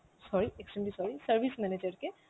sorry, extremely sorry, service manager K